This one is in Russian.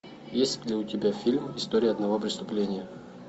есть ли у тебя фильм история одного преступления